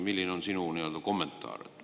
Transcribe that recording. Milline on sinu kommentaar?